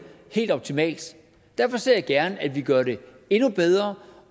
helt optimalt og derfor ser jeg gerne at vi gør det endnu bedre